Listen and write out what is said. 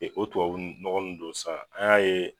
o tubabu nɔgɔ nun don sa an y'a ye